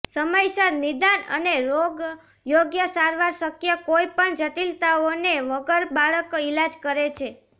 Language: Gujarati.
સમયસર નિદાન અને રોગ યોગ્ય સારવાર શક્ય કોઈપણ જટિલતાઓને વગર બાળક ઇલાજ કરે છે